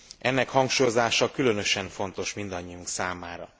Ennek hangsúlyozása különösen fontos mindannyiunk számára.